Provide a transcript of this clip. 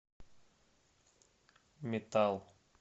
метал